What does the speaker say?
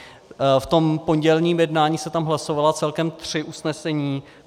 V tom pondělním jednání se tam hlasovala celkem tři usnesení.